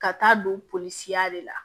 Ka taa don polisiyɔ de la